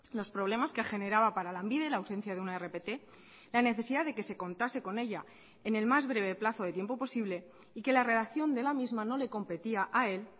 los problemas que generaba para lanbide la ausencia de una rpt la necesidad de que se contase con ella en el más breve plazo de tiempo posible y que la redacción de la misma no le competía a él